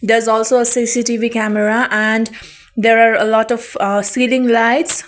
there's also a C_C_T_V camera and there are a lot of ah ceiling lights.